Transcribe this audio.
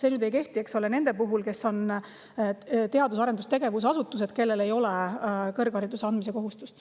Aga see ei kehti teadus- ja arendustegevusasutuste puhul, kellel ei ole kõrghariduse andmise kohustust.